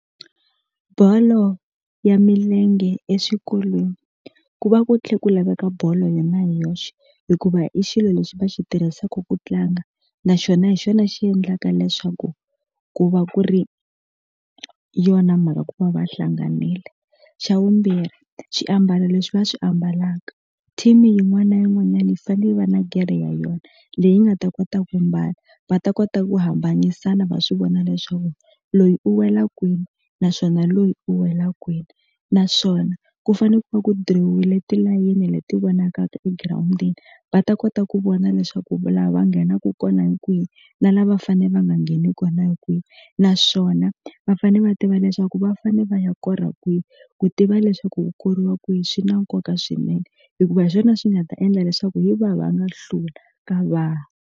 Bolo ya milenge exikolweni ku va ku tlhe ku laveka bolo yona hi yoxe hikuva i xilo lexi va xi tirhisaku ku tlanga naxona hi xona xi endlaka leswaku ku va ku ri yona mhaka ku va va hlanganile xa vumbirhi xiambalo leswi va swi ambalaka team yin'wana yin'wanyani yi fane yi va na gerhe ya yona leyi nga ta kota ku mbala va ta kota ku hambanyisana va swi vona leswaku loyi u wela kwini naswona loyi u wela kwini naswona ku fane ku va ku dirowile tilayini leti vonakaka egirawundini va ta kota ku vona leswaku lava va nghenaku kona hi kwihi na lava va fane va nga ngheni kona hi kwihi na naswona va fane va tiva leswaku va fane va ya kora kwihi ku tiva leswaku ku koriwa kwihi swi na nkoka swinene hikuva hi swona swi nga ta endla leswaku hi va va nga hlula ka va ha.